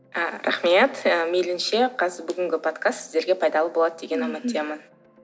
ы рахмет ы мейілінше бүгінгі подкаст сіздерге пайдалы болады деген үміттемін